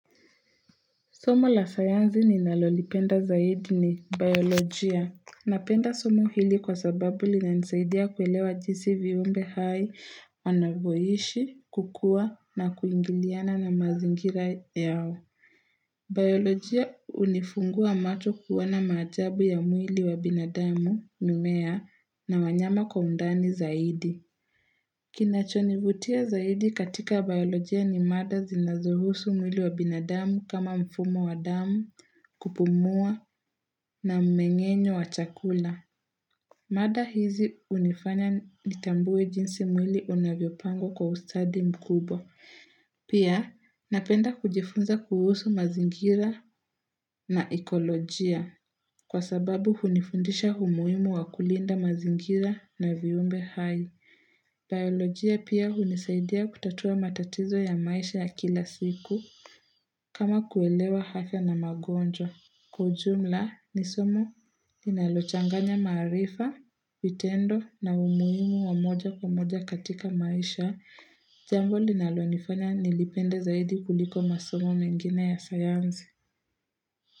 Somo la sayansi ni nalolipenda zaidi ni biolojia. Napenda somo hili kwa sababu linanisaidia kuelewa jinsi viumbe hai wanavyoishi, kukua na kuingiliana na mazingira yao. Biolojia unifungua macho kuona majabu ya mwili wa binadamu, mimea, na wanyama kwa undani zaidi. Kinachonivutia zaidi katika biolojia ni mada zinazohusu mwili wa binadamu kama mfumo wa damu, kupumua na mmengenyo wa chakula. Mada hizi hunifanya nitambue jinsi mwili unavyopango kwa ustadi mkubwa. Pia napenda kujifunza kuhusu mazingira na ekolojia kwa sababu hunifundisha umuhimu wa kulinda mazingira na viumbe hai. Biolojia pia hunisaidia kutatua matatizo ya maisha ya kila siku kama kuelewa afya na magonjwa kwa ujumla nisomo linalochanganya maarifa, vitendo na umuhimu wamoja kwa moja katika maisha Jambo linalonifanya nilipende zaidi kuliko masomo mengine ya sayansi.